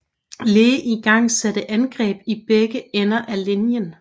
Lee igangsatte angreb i begge ender af linjen